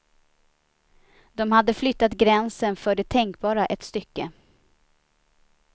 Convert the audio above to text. De hade flyttat gränsen för det tänkbara ett stycke.